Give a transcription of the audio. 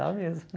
Dá mesmo.